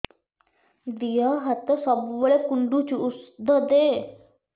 ଦିହ ହାତ ସବୁବେଳେ କୁଣ୍ଡୁଚି ଉଷ୍ଧ ଦେ